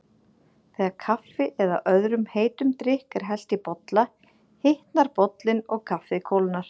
Þegar kaffi eða öðrum heitum drykk er hellt í bolla hitnar bollinn og kaffið kólnar.